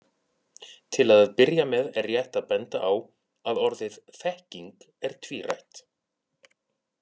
Til að byrja með er rétt að benda á að orðið þekking er tvírætt.